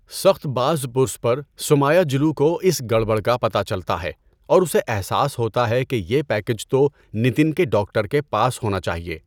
سخت بازپرس پر، سومایاجلو کو اس گڑبڑ کا پتہ چلتا ہے اور اسے احساس ہوتا ہے کہ یہ پیکیج تو نتن کے ڈاکٹر کے پاس ہونا چاہیے۔